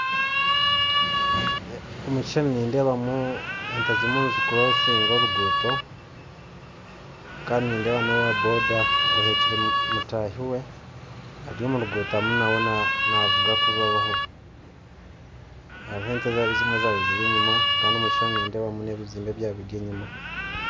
Omukishushani nindebamu ente zirimu nizikurosinga oruguuto kandi nindeeba nowa boda ahekire mutaahi we aryomuruguuto arimu nawe navuga kubaho haruho ente ezabiire ziri enyuma kandi omukishushani nindebamu nebizimbe ebyabaire biri enyuma .